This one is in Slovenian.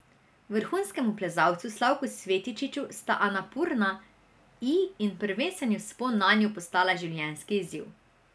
Vrhunskemu plezalcu Slavku Svetičiču sta Anapurna I in prvenstveni vzpon nanjo postala življenjski izziv.